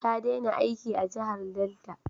Ta dena aiki a jahar Delta